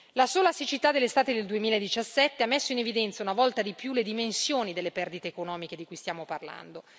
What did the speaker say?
La sola siccità dell'estate del 2017 ha messo in evidenza una volta di più le dimensioni delle perdite economiche di cui stiamo parlando.